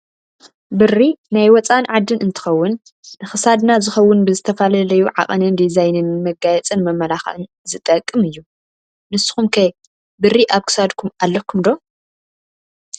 ብሪ ናይ ወፃኢን ዓዲን እንትከውን ንክሳድና ዝከውን ብዝተፈላለዩ ዓቀንን ዲዛይንን ንመጋየፂን መመላክዕን ዝጠቅም እዩ። ንስኩም ከ ብሪ ኣብ ክሳድኩም ኣለኩም ዶ?